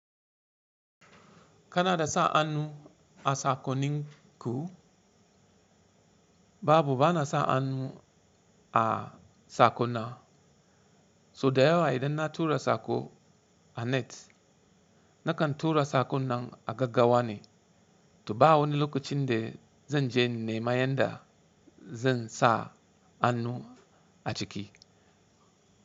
Kanada sa hannu a sakoninku babu bana sa hannu a sakon na. So da yawa idan na tura sako a net nakan tura sakon nan a gaggawa ne, to ba wani lokacin da zan je nema yanda zan sa hannu a ciki.